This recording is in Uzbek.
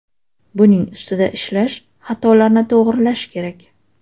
Buning ustida ishlash, xatolarni to‘g‘rilash kerak.